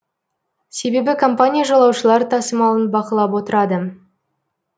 себебі компания жолаушылар тасымалын бақылап отырады